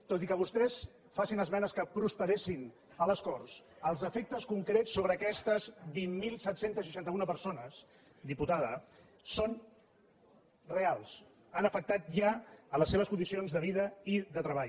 tot i que vostès facin esmenes que prosperessin a les corts els efectes concrets sobre aquestes vint mil set cents i seixanta un persones diputada són reals han afectat ja les seves condicions de vida i de treball